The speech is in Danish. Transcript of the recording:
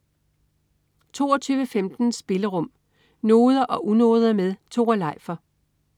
22.15 Spillerum. Noder og unoder med Tore Leifer